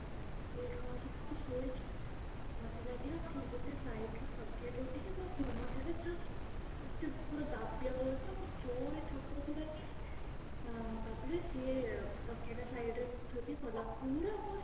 ଇଏ କଣ ହେଇଛି ନା ମୁଁ ଶୋଇଛି ମତେ ଲାଗିଲା କିଏ ଗୋଟେ side ରୁ ତକିଆଟାକୁ ଉଠେଇଲା ମୋ ମୁହଁ ଟାରେ just ସେ ପୁରା ଦାବିବାକୁ ଯାଇଥିଲା ମୁଁ ଜୋରେ ଠାକୁରଙ୍କୁ ଡାକିଲି ତାପରେ ସିଏ ତକିଆଟାକୁ side ରେ ଥୋଇଦେଇ ପୁଣି ପଳେଇଲା ପୁରା ମୋ